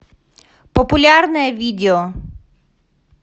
популярное видео